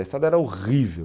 A estrada era horrível.